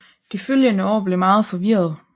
De følgende år blev meget forvirrede